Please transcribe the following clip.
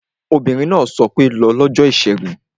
Obìnrin náà sọ pé 'lọ lọ́jọ́ ìṣẹ́gun